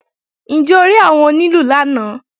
Ǹjẹ́ o rí àwọn onílù lánàá?